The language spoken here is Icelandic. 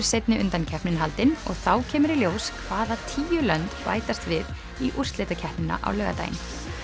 seinni undankeppnin haldin og þá kemur í ljós hvaða tíu lönd bætast við í úrslitakeppnina á laugardaginn